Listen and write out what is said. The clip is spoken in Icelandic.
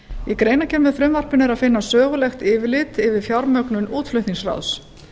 í greinargerð með frumvarpinu er að finna sögulegt yfirlit yfir fjármögnun útflutningsráðs